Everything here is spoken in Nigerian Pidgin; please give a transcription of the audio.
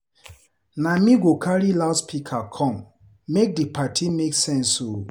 Na me go carry loudspeaker come, make di party make sense o.